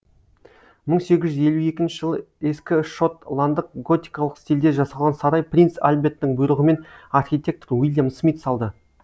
мың сегіз жүз елу екінші жылы ескі шот ландық готикалық стилде жасалған сарай принц альберттің бұйрығымен архитектор уильям смит салды